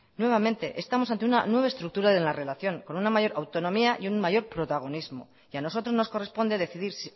nuevamente estamos ante una nueva estructura en la relación con una mayor autonomía y un mayor protagonismo y a nosotros nos corresponde decidir